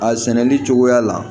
A sɛnɛli cogoya la